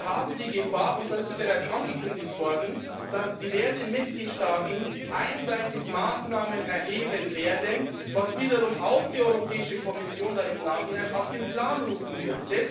Wir haben die Gefahr und das ist bereits angekündigt worden dass diverse Mitgliedstaaten einseitig Maßnahmen ergreifen werden, was wiederum auch die Europäische Kommission dann im Nachhinein auf den Plan rufen wird.